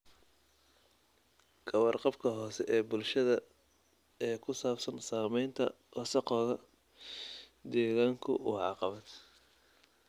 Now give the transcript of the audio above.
Ka warqabka hoose ee bulshada ee ku saabsan saamaynta wasakhowga deegaanku waa caqabad.